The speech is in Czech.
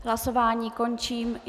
Hlasování končím.